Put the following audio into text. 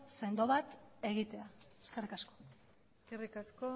sendo bat egitea eskerrik asko eskerrik asko